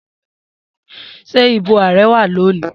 Se ibo ààrẹ wa loni?